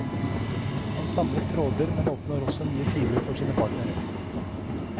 Han samler tråder, men åpner også nye filer for sine partnere.